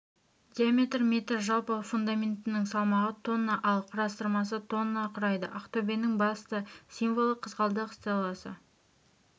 диаметрі метр жалпы фундаментінің салмағы тонна ал құрастырмасы тонна құрайды ақтөбенің басты символы қызғалдақ стелласы